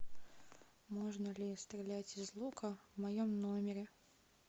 можно ли стрелять из лука в моем номере